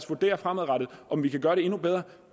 vurdere fremadrettet om vi kan gøre det endnu bedre